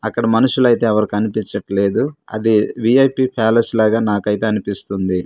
అక్కడ మనుషులు అయితే ఎవరు కనిపించట్లేదు అది విఐపి ప్యాలెస్ లాగా నాకైతే అనిపిస్తుంది.